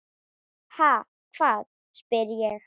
Ha, hvað? spyr ég.